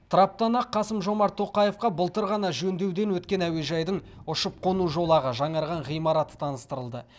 траптан ақ қасым жомарт тоқаевқа былтыр ғана жөндеуден өткен әуежайдың ұшып қону жолағы жаңарған ғимараты таныстырылды